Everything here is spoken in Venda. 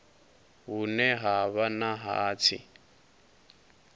hune ha vha na hatsi